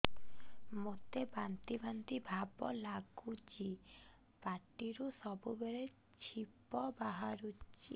ମୋତେ ବାନ୍ତି ବାନ୍ତି ଭାବ ଲାଗୁଚି ପାଟିରୁ ସବୁ ବେଳେ ଛିପ ବାହାରୁଛି